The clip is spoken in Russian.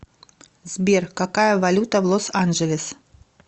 сбер какая валюта в лос анджелес